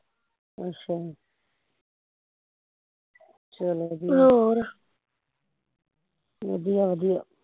ਅੱਛਾ ਚੱਲ ਵਧੀਆ ਵਧੀਆ ਵਧੀਆ